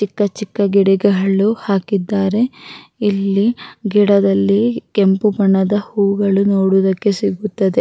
ಚಿಕ್ಕ ಚಿಕ್ಕ ಗಿಡಗಳು ಹಾಕಿದ್ದಾರೆ ಇಲ್ಲಿ ಗಿಡದಲ್ಲಿ ಕೆಂಪು ಬಣ್ಣದ ಹೂಗಳು ನೋಡುವುದಕ್ಕೆ ಸಿಗುತ್ತದೆ-